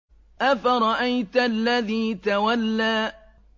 أَفَرَأَيْتَ الَّذِي تَوَلَّىٰ